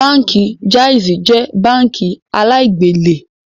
Báńkì Jaiz jẹ́ báńkì aláì-gbélè